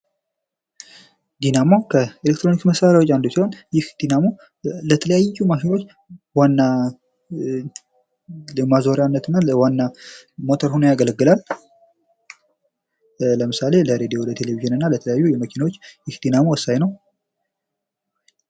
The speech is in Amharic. ዲናሞ ከኤሌክትሮኒክስ መሳሪያዎች አንድ ሲሆን ይህ ዲናሞ ለተለያዩ ማሽኖች ዋና ማዞሪያነት እና ለዋና ሞተር ሆኖ ያገለግላል። ለምሳሌ ለ ሬዲዮ ፣ለቴሌቪዥንና ለተለያዩ መኪናዎች ይህ ዲናሞ ወሳኝ ነው።